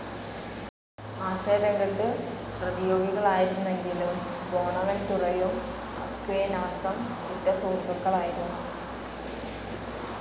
ആശയരംഗത്ത് പ്രതിയോഗികളായിരുന്നെങ്കിലും ബോണവൻതുറയും അക്വിനാസം ഉറ്റ സുഹൃത്തുക്കളായിരുന്നു.